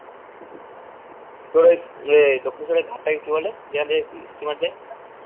তোর ওই যে দক্ষিনেশ্বরের ঘাটটাকে কি বলে যেখান থেকে steamer যাই